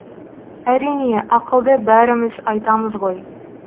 әрине ақылды бәріміз айтамыз ғой